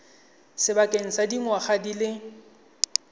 sebakeng sa dingwaga di le